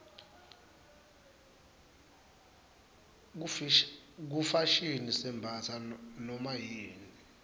kufashini sembatsa nomayini